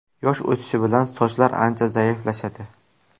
Yosh o‘tishi bilan sochlar ancha zaiflashadi.